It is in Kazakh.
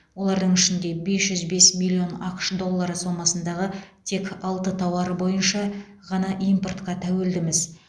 олардың ішінде бес жүз бес миллион ақш доллары сомасындағы тек алты тауар бойынша ғана импортқа тәуелдіміз